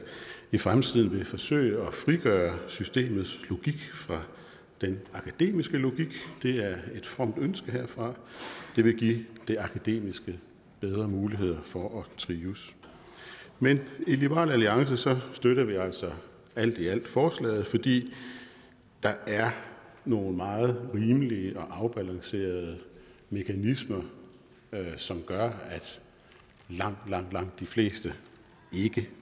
i fremtiden vil forsøge at frigøre systemets logik fra den akademiske logik det er et fromt ønske herfra det vil give det akademiske bedre muligheder for at trives men i liberal alliance støtter vi altså alt i alt forslaget fordi der er nogle meget rimelige og afbalancerede mekanismer som gør at langt langt de fleste ikke